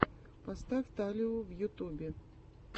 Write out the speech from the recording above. поставь талию в ютубе